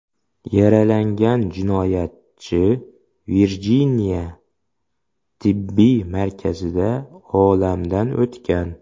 Yaralangan jinoyatchi Virjiniya tibbiy markazida olamdan o‘tgan.